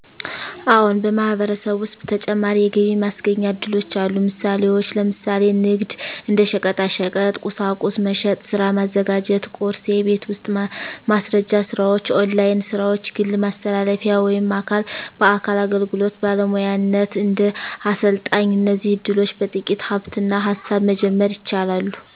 አዎን፣ በማህበረሰብ ውስጥ ተጨማሪ የገቢ ማስገኛ እድሎች አሉ። ምሳሌዎች፦ ለምሳሌ ንግድ (እንደ ሸቀጣሸቀጥ፣ ቁሳቁስ መሸጥ) ሥራ ማዘጋጀት (ቁርስ) የቤት ውስጥ ማስረጃ ስራዎች ( ኦንላይን ሥራዎች) ግል ማስተላለፊያ ወይም አካል በአካል አገልግሎት (ባለሙያነት፣ እንደ አሰልጣኝ) እነዚህ እድሎች በጥቂት ሃብትና ሃሳብ መጀመር ይቻላሉ።